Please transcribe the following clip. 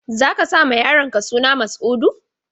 Za ka sa ma yaronka suna Mas'udu?